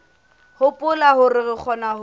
hopola hore re kgona ho